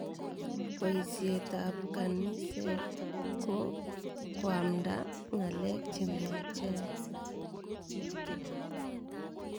Poisyet ap kaniset ko koamnda ng'alek che miachen.